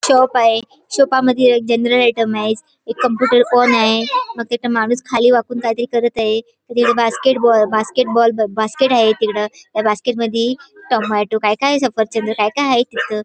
Shop आहे शाॅपा मध्ये जनरल आयटम आहेत एक कंप्युटर पण आहे मग तिथे माणुस खाली वाकुन कायतरी करत आहे अ तिकडे बास्केट बास्केट बाॅल अ बास्केट आहे त्या बास्केट मधी टोमॅटो काय काय अ सफरचंद काय काय तिथ.